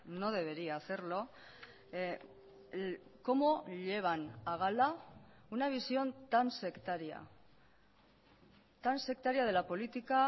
no debería hacerlo cómo llevan a gala una visión tan sectaria tan sectaria de la política